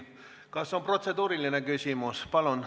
Kas on protseduuriline küsimus?